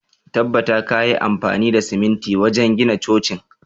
Tabbata kayi amfani da siminti wajen gina cocin!